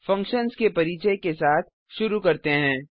functions के परिचय के साथ शुरू करते हैं